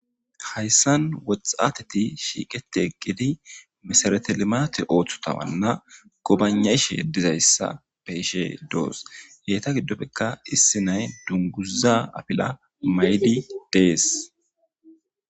hayssan woxxateti shiiqetegidi misarate limaate ooththutawanna gobanashe dizayssa beishe doos yeeta giddofekka issi nay dunguza afila maydi deesi.